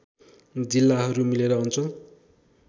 जिल्लाहरू मिलेर अञ्चल